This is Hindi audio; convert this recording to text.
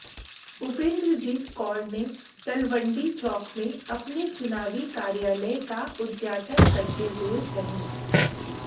उपिन्द्रजीत कौर ने तलवंडी चौक में अपने चुनावी कार्यालय का उद्घाटन करते हुए कहे